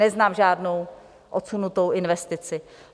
Neznám žádnou odsunutou investici.